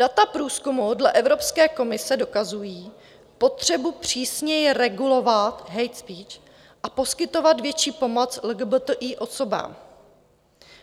Data průzkumu dle Evropské komise dokazují potřebu přísněji regulovat hate speech a poskytovat větší pomoc LGBTI osobám,